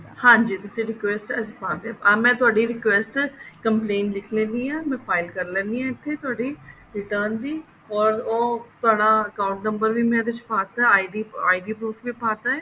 ਹਾਂਜੀ ਤੁਸੀਂ request ਅੱਜ ਪਾਕੇ ਆਹ ਮੈਂ ਤੁਹਾਡੀ request complaint ਲਿੱਖ ਲੇੰਦੀ ਹਾਂ ਮੈਂ file ਕਰ ਲੇਣੀ ਹਾਂ ਇੱਥੇ ਤੁਹਾਡੀ return ਦੀ or ਉਹ ਤੁਹਾਡਾ account number ਵੀ ਮੈਂ ਇਹਦੇ ਚ ਪਾਤਾ ID proof ਵੀ ਪਾਤਾ